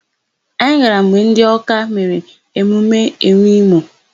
Anyị gara mgbe ndị Ọ́ká mere emume enwe imo.